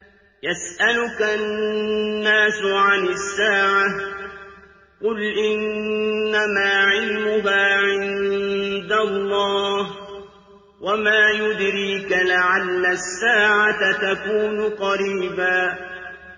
يَسْأَلُكَ النَّاسُ عَنِ السَّاعَةِ ۖ قُلْ إِنَّمَا عِلْمُهَا عِندَ اللَّهِ ۚ وَمَا يُدْرِيكَ لَعَلَّ السَّاعَةَ تَكُونُ قَرِيبًا